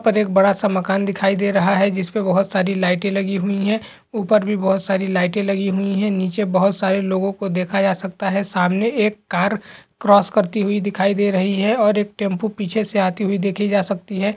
ऊपर एक बड़ा सा मकान दिखाई दे रहा है जिसपे बहोत सारी लाइटें लगी हुई है ऊपर भी बहोत सारी लाइटें लगी हुई है नीचे बहोत सारे लोगों को देखा जा सकता है सामने एक कार क्रॉस करती हुई दिखाई दे रही है और एक टेंपो पीछे से आती हुई देखी जा सकती है।